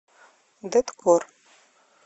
дэткор